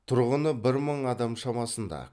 тұрғыны бір мың адам шамасында